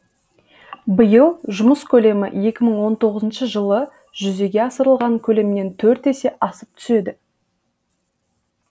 биыл жұмыс көлемі екі мың он тоғызыншы жылы жүзеге асырылған көлемнен төрт есе асып түседі